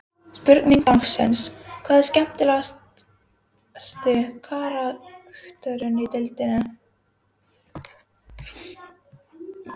Spurning dagsins: Hver er skemmtilegasti karakterinn í deildinni?